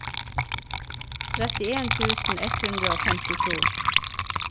trettien tusen ett hundre og femtito